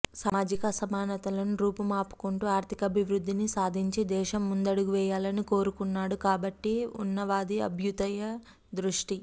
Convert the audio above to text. సామాజిక అసమానతలను రూపు మాపుకొంటూ ఆర్థికాభివృద్ధిని సాధించి దేశం ముందడుగేయాలని కోరుతున్నాడు కాబట్టి ఉన్నవది అభ్యుదయ దృష్టి